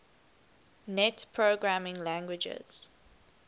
net programming languages